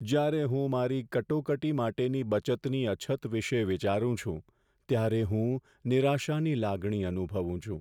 જ્યારે હું મારી કટોકટી માટેની બચતની અછત વિશે વિચારું છું, ત્યારે હું નિરાશાની લાગણી અનુભવું છું.